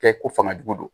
Kɛ ko fanga jugu don